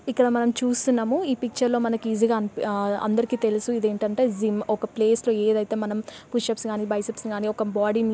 ఇక్కడ మనం చూస్తున్నాము ఈ పిక్చర్ లో మనకు ఈజీ గా ఆ అందరికీ తెలుసు ఇది ఏంటంటే జిమ్ ఒక ప్లేస్ లో ఏదైతే మనం పుషప్స్ కానీ బైసిప్స్ కానీ ఒక బాడీ ని.